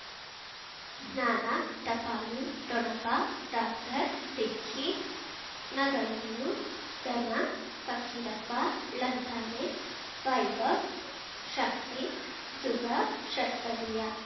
ಜ್ಞಾನ ಟಪಾಲು ಠೊಣಪ ಡಾಕ್ಟರ್ ಢಿಕ್ಕಿ ಣಗಳನ್ನು ಧನ ಫಕೀರಪ್ಪ ಳಂತಾನೆ ವೈಭವ್ ಶಕ್ತಿ ಝುಗಾ ಷಟ್ಪದಿಯ